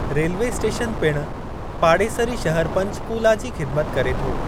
Railway station पिणु पाड़ेसरी शहर पंचकूला जी ख़िदमत करे थो।